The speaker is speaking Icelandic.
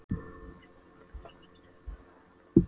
spurði hún æst og hristi höfuðið af vanþóknun.